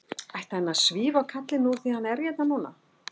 Ætti hann að svífa á kallinn úr því að hann er hérna núna?